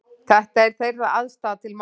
Þetta er þeirra afstaða til málanna